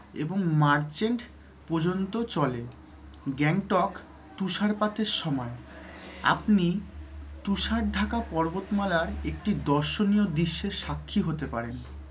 এবং march end পর্যন্ত চলে। গ্যাংটক তুষারপাতের সময় আপনি তুষার ঢাকা পর্বতমালার একটি দর্শনীয় দৃশ্যের সাক্ষী হতে পারেন।